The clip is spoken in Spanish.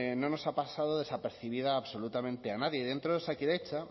no nos ha pasado desapercibida absolutamente a nadie dentro de osakidetza